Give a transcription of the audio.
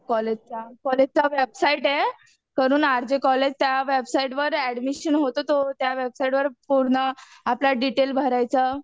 कॉलेजचा कॉलेजचा वेबसाईट आहे, आर जे कॉलेज त्या वेबसाईट वर ऍडमिशन होतो तो त्या वेबसाईटवर पूर्ण आपलं डिटेल भरायचं.